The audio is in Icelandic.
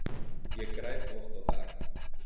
Ég græt oft á dag.